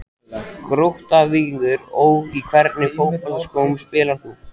Grótta-Víkingur Ó Í hvernig fótboltaskóm spilar þú?